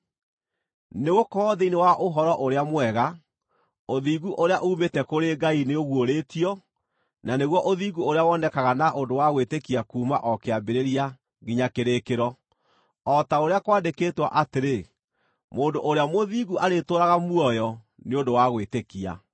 Nĩgũkorwo thĩinĩ wa Ũhoro-ũrĩa-Mwega, ũthingu ũrĩa uumĩte kũrĩ Ngai nĩũguũrĩtio, na nĩguo ũthingu ũrĩa wonekaga na ũndũ wa gwĩtĩkia kuuma o kĩambĩrĩria nginya kĩrĩkĩro, o ta ũrĩa kwandĩkĩtwo atĩrĩ: “Mũndũ ũrĩa mũthingu arĩtũũraga muoyo nĩ ũndũ wa gwĩtĩkia.”